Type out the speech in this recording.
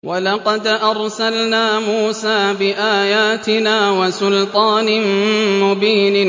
وَلَقَدْ أَرْسَلْنَا مُوسَىٰ بِآيَاتِنَا وَسُلْطَانٍ مُّبِينٍ